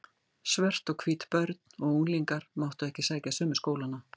Svört og hvít börn og unglingar máttu ekki sækja sömu skólana.